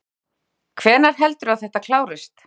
Jóhannes: Hvenær heldurðu að þetta klárist?